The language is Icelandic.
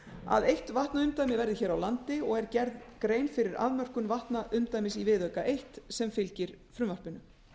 að eitt vatnaumdæmi verði hér á landi og er gerð grein fyrir afmörkun vatnaumdæmis í viðauka eina sem fylgir frumvarpinu